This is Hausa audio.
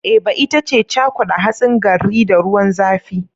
Eba ita ce cakuda hatsin garri da ruwan zafi.